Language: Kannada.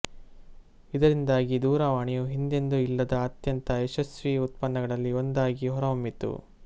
ಇದರಿಂದಾಗಿ ದೂರವಾಣಿಯು ಹಿಂದೆಂದೂ ಇಲ್ಲದ ಅತ್ಯಂತ ಯಶಸ್ವೀ ಉತ್ಪನ್ನಗಳಲ್ಲಿ ಒಂದಾಗಿ ಹೊರಹೊಮ್ಮಿತು